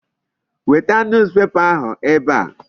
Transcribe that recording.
Weta newspaper ahụ ebe a.